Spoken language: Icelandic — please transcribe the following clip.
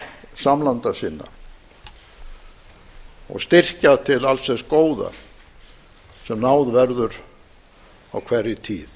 samlanda sinna og styrkja til alls þess góða sem náð verður á hverri tíð